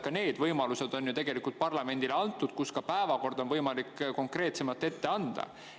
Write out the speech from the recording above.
Ka need võimalused on ju tegelikult parlamendile antud, kus ka päevakord on võimalik konkreetsemalt ette anda.